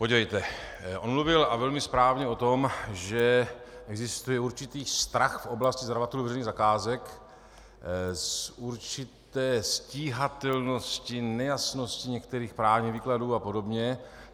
Podívejte, on mluvil, a velmi správně, o tom, že existuje určitý strach v oblasti zadavatelů veřejných zakázek z určité stíhatelnosti, nejasnosti některých právních výkladů a podobně.